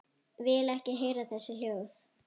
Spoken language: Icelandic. Vil ekki heyra þessi hljóð.